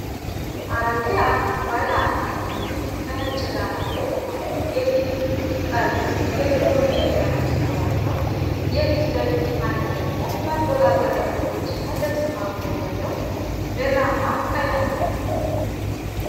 አሮጌ ዓይነት ባለ አንቴና ቲቪ ከነጭ ዳራ ላይ ቆሟል። የቲቪው ጠርዞች የጥቁር እንጨት ቀለም ሲኖራቸው፣ የፊት ለፊቱ ፓነል ደግሞ መቆጣጠሪያ ቁልፎችና ድምፅ ማጉያ ያለው ብርማ ቀለም ነው።